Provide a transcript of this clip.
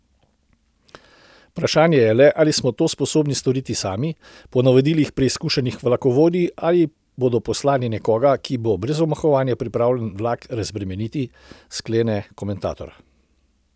Vprašanje je le, ali smo to sposobni storiti sami, po navodilih preizkušenih vlakovodij, ali bodo poslali nekoga, ki bo brez omahovanja pripravljen vlak razbremeniti, sklene komentator.